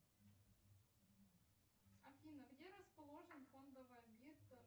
афина где расположен фондовый объект